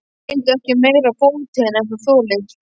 Og reyndu ekki meira á fótinn en þú þolir.